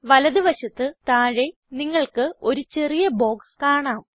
വലത് വശത്ത് താഴെ നിങ്ങൾക്ക് ഒരു ചെറിയ ബോക്സ് കാണാം